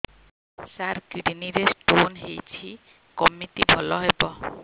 ସାର kidney ରେ stone ହେଇଛି କମିତି ଭଲ ହେବ